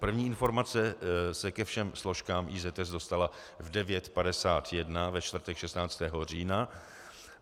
První informace se ke všem složkám IZS dostala v 9.51 ve čtvrtek 16. října.